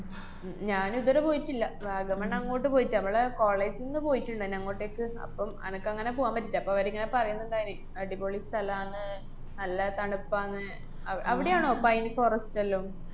ഞ്~ ഞാനിതുവരെ പോയിട്ടില്ല. വാഗമണ്‍ അങ്ങോട്ട് പോയിട്ടില്ല, നമ്മള് college ന്ന് പോയിട്ട്ണ്ടാരുന്നു അങ്ങോട്ടേയ്ക്ക്. അപ്പം അനക്കങ്ങനെ പൂവാന്‍ പറ്റീല്ല. അപ്പ അവരിങ്ങനെ പറയന്ന്ണ്ടാരുന്നു, അടിപൊളി സ്ഥലാണ്, നല്ല തണുപ്പാണ്, അ~ അവിടെയാണോ pine forest എല്ലോം?